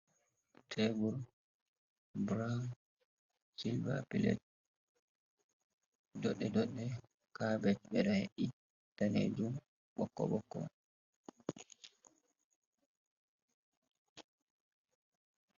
Teebur buraawun, cilva pilet doɗɗe-doɗɗe, kaapet be nonnde daneejum, ɓokko-ɓokko.